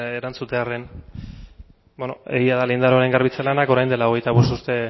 erantzutearen beno egia da lehen lindanoren garbitze lanak orain dela hogeita bost urte